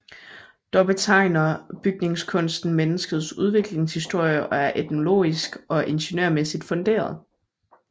Dog betegner bygningskunsten menneskets udviklingshistorie og er etnologisk og ingeniørmæssigt funderet